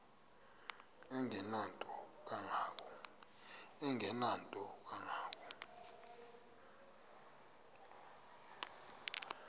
engenanto kanga ko